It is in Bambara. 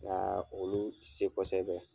Nga olu ti se kosɛbɛ.